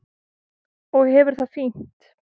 Og hefur það fínt.